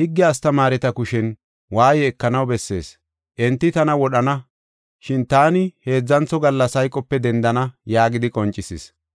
higge astamaareta kushen waaye ekanaw bessees. Enti tana wodhana, shin taani heedzantho gallas hayqope dendana” yaagidi qoncisis.